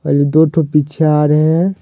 ये दो ठो पीछे आ रहे हैं।